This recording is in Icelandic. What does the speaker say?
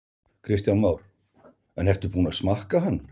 Kristján Már: En ertu búinn að smakka hann?